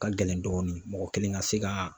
Ka gɛlɛn dɔɔni mɔgɔ kelen ka se ka